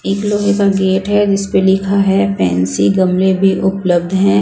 एक लोहे का गेट है जिस पर लिखा है पेंसी गमले भी उपलब्ध है।